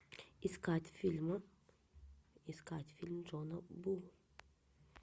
искать фильм искать фильм джона ву